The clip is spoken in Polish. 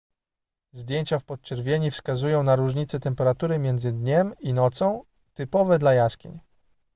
zdjęcia w podczerwieni wskazują na różnice temperatury między dniem i nocą typowe dla jaskiń